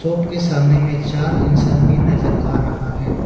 के सामने में चार इंसान भी नजर आ रहा है।